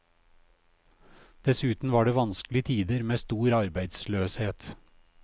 Dessuten var det vanskelige tider med stor arbeidsløshet.